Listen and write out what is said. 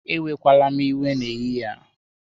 Ewekwala m iwe n'ehihie a